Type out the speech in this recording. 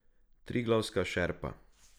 Triglavska šerpa.